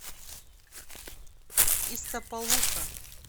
истапалука